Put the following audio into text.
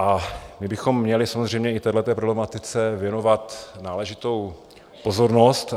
A my bychom měli samozřejmě i téhle problematice věnovat náležitou pozornost.